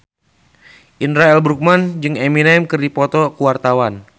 Indra L. Bruggman jeung Eminem keur dipoto ku wartawan